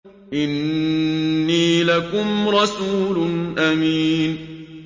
إِنِّي لَكُمْ رَسُولٌ أَمِينٌ